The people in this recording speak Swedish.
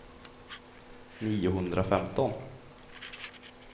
niohundrafemton